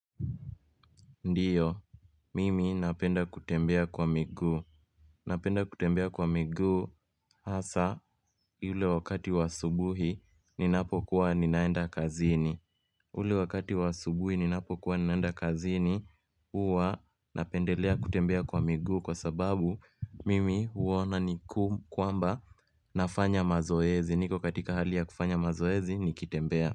Ndiyo, mimi napenda kutembea kwa miguu. Napenda kutembea kwa miguu hasa ule wakati wa asubuhi ninapo kuwa ninaenda kazini. Ule wakati wa asubuhi ninapo kuwa ninaenda kazini huwa napendelea kutembea kwa miguu kwa sababu mimi huona ni kana kwamba nafanya mazoezi. Niko katika hali ya kufanya mazoezi nikitembea.